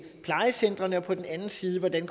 plejecentrene og på den anden side hvordan